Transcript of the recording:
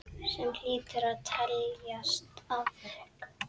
Sem hlýtur að teljast afrek.